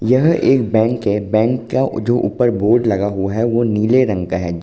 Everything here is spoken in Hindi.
यह एक बैंक है। बैंक का जो उपर बोर्ड लगा हुआ है वो नीले रंग का है।